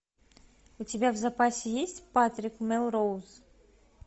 у тебя в запасе есть патрик мелроуз